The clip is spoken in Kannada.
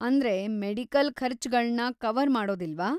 ಅಂದ್ರೆ ಮೆಡಿಕಲ್‌ ಖರ್ಚ್ಗಳನ್ನ ಕವರ್‌ ಮಾಡೋದಿಲ್ವಾ?